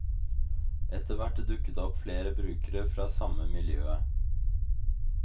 Etterhvert dukket det opp flere brukere fra samme miljøet.